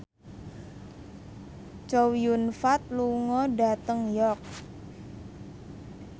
Chow Yun Fat lunga dhateng York